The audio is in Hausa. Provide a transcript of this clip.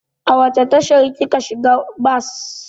A wace tashar kika shiga bas?